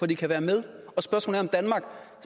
de kan være med